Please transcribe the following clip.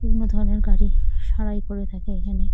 বিভিন্ন ধরনের গাড়ি সারাই করে থাকে এখানে।